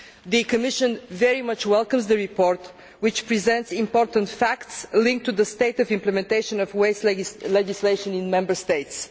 The Commission very much welcomes the report, which presents important facts linked to the state of implementation of waste legislation in Member States.